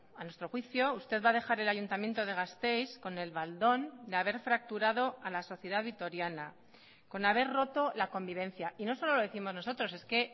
a nuestro juicio usted va a dejar el ayuntamiento de gasteiz con el baldón de haber fracturado a la sociedad vitoriana con haber roto la convivencia y no solo lo décimos nosotros es que